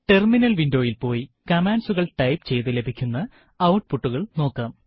terminal വിൻഡോയിൽ പോയി കമാൻഡ്സുകൾ ടൈപ്പ് ചെയ്തു ലഭിക്കുന്ന ഔട്പുട്ടുകൾ നോക്കാം